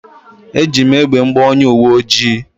Eji m egbe m gbaa onye uwe ojii